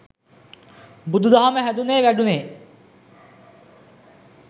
බුදුදහම හැදුනේ වැඩුනේ